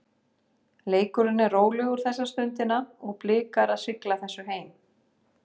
Leikurinn er rólegur þessa stundina og Blikar að sigla þessu heim.